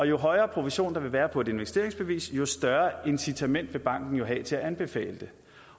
jo højere provision der vil være på et investeringsbevis jo større incitament vil banken have til at anbefale